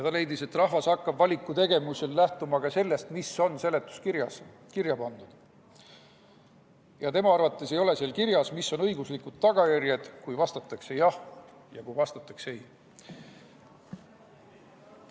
Ta leidis, et rahvas hakkab valiku tegemisel lähtuma ka sellest, mis on seletuskirjas kirja pandud, ja tema arvates ei ole seal kirjas, mis on õiguslikud tagajärjed, kui vastatakse jah ja kui vastatakse ei.